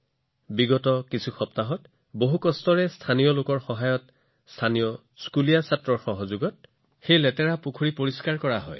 যোৱা কেইসপ্তাহমানত অতি কঠোৰ পৰিশ্ৰম কৰি স্থানীয় লোকসকলৰ সহায়ত স্থানীয় বিদ্যালয়ৰ শিশুসকলৰ সহায়ত সেই লেতেৰা পুখুৰীটো পুনৰুজ্জীৱিত কৰা হৈছে